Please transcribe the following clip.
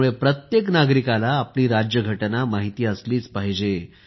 त्यामुळे प्रत्येक नागरिकाला आपली राज्यघटना माहिती असलीच पाहिजे